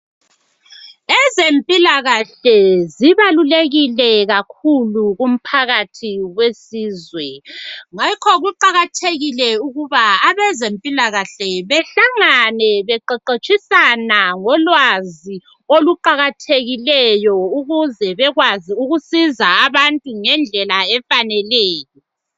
Ezempilakahle zibalulekile kakhulu kumphakathi wesizwe, ngakho kuqakathekile ukuba abezempilakahle behlangane beqeqetshisana ngolwazi oluqakathekileyo ukuze bekwazi ukusiza abantu ngendlela efaneleyo.